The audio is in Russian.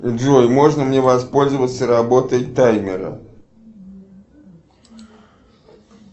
джой можно мне воспользоваться работой таймера